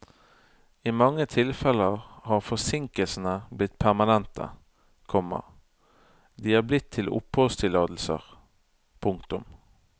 I mange tilfeller har forsinkelsene blitt permanente, komma de er blitt til oppholdstillatelser. punktum